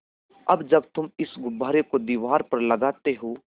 अब जब तुम इस गुब्बारे को दीवार पर लगाते हो